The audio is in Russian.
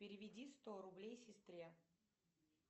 переведи сто рублей сестре